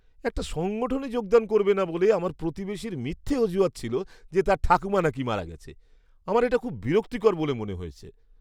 একটা সংগঠনে যোগদান করবে না বলে আমার প্রতিবেশীর মিথ্যা অজুহাত ছিল যে তার ঠাকুমা নাকি মারা গেছে, আমার এটা খুব বিরক্তিকর বলে মনে হয়েছে।